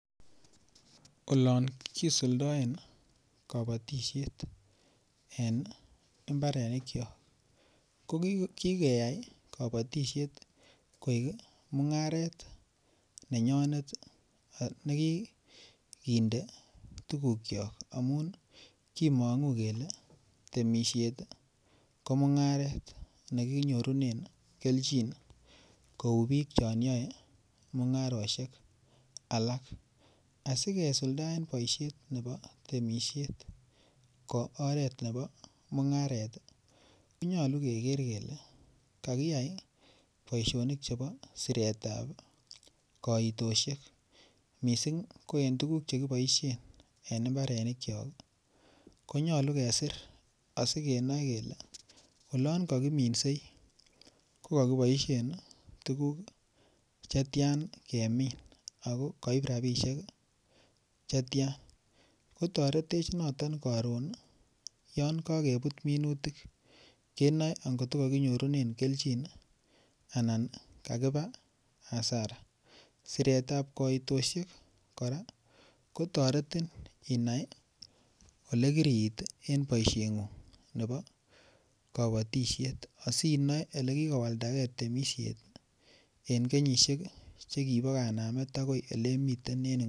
Olon kisuldaen kabatisiet en mbarenikyok ko ki keyai kabatisiet koek mungaret nenyonet ne kikinde tuguk kyok amun kimongu kele temisiet ko mungaret ne kinyorunen kelchin kou bik chon yoe mungarosiek alak asi kisuldaen boisiet nebo temisiet ko oret nebo mungaret ko nyolu keger kele kakiyai boisionik chebo siretab kaitosyek mising ko en tuguk Che kiboisien en mbarenikyok ko nyolu kesir asi kenoe kele olon kakiminsei ko kali boisien tuguk Che tian kemin ago kaib rabisiek Che tian ko toretech noton koron yon kakebut minutik angot ko ko kakinyorunen kelchin anan kakiba hasara siret ab koitosiek kora kotoretin. Inai Ole kirit en sonegung nebo kabatisiet asi inoe Ole kikowalda ge kabatisiet en betusiek Che kibo tai ako oleiming uni